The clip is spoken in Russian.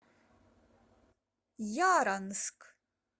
яранск